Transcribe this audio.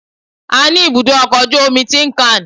A ní ibùdó ọkọ̀ ojú omi Tin-Can